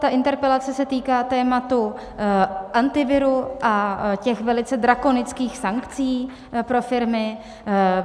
Ta interpelace se týká tématu Antivirů a těch velice drakonických sankcí pro firmy.